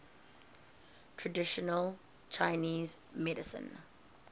traditional chinese medicine